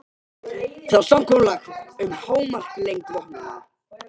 Það var samkomulag um hámarkslengd vopnanna.